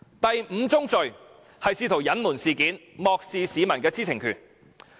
第五宗罪是試圖隱瞞事件，漠視市民的知情權。